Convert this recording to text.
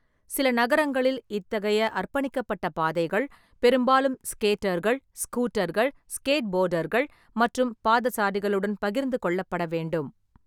சில நகரங்களில் இத்தகைய அர்ப்பணிக்கப்பட்ட பாதைகள் பெரும்பாலும் ஸ்கேட்டர்கள், ஸ்கூட்டர்கள், ஸ்கேட்போர்டர்கள் மற்றும் பாதசாரிகளுடன் பகிர்ந்து கொள்ளப்பட வேண்டும்.